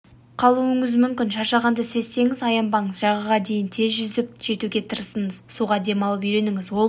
қалуыңыз мүмкін шаршағанды сезсеңіз аянбаңыз жағаға дейін тез жүзіп жетуге тырысыңыз суда демалып үйреніңіз ол